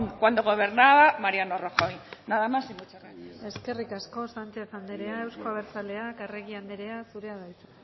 cuando gobernaba mariano rajoy nada más y muchas gracias eskerrik asko sánchez anderea euzko abertzaleak arregi anderea zurea da hitza